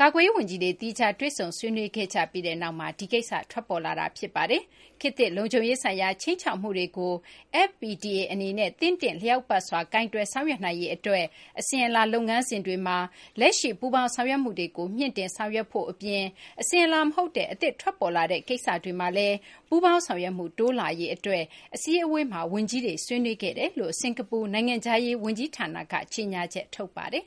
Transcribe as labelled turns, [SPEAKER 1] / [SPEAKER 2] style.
[SPEAKER 1] ကာကွယ်ရေး ဝန်ကြီးတွေ သီးခြား တွေ့ဆုံဆွေးနွေးခဲ့ကြပြီးနောက်မှာ ဒီကိစ္စ ထွက်ပေါ်လာတာပါ။ ခေတ်သစ် လုံခြုံရေးဆိုင်ရာ ခြိမ်းခြောက်မှုတွေကို FPDA အနေနဲ့ သင့်တင့်လျောက်ပတ်စွာ ကိုင်တွယ်ဆောင်ရွက်နိုင်ရေး အတွက် အစဉ်အလာ လုပ်ငန်းစဉ်တွေမှာ လက်ရှိ ပူးပေါင်းဆောင်ရွက်မှုတွေကို မြှင့်တင်ဆောင်ရွက်ဖို့ အပြင် အစဉ်အလာ မဟုတ်တဲ့ အသစ်ထွက်ပေါ်လာတဲ့ ကိစ္စတွေမှာလည်း ပူးပေါင်းဆောင်ရွက်မှု တိုးလာရေး အတွက် FDMM အစည်းအဝေးမှာ ဝန်ကြီးတွေ ဆွေးနွေးခဲ့ကြောင်း စကာၤပူ နိုင်ငံခြားရေး ဝန်ကြီးဌာနက ကြေညာချက် ထုတ်ပါတယ်။